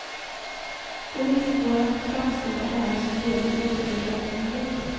Poliskåren framstår här som helt otillräknelig.